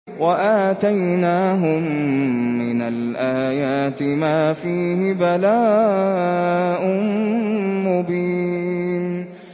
وَآتَيْنَاهُم مِّنَ الْآيَاتِ مَا فِيهِ بَلَاءٌ مُّبِينٌ